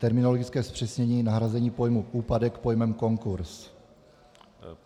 Terminologické zpřesnění - nahrazení pojmu úpadek pojmem konkurz.